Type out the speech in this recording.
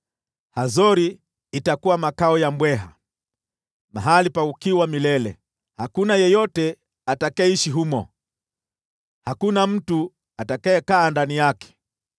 “Hazori itakuwa makao ya mbweha, mahali pa ukiwa milele. Hakuna yeyote atakayeishi humo; hakuna mtu atakayekaa ndani yake.”